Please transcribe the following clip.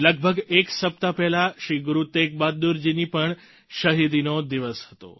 લગભગ એક સપ્તાહ પહેલા શ્રી ગુરુ તેગ બહાદુર જી ની પણ શહિદીનો દિવસ હતો